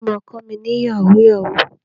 Ta ló ma kọ́ mi ní Yahoo yahoo?